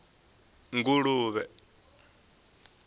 nguluvhe